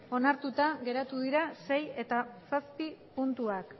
onartuta geratu dira sei eta zazpi puntuak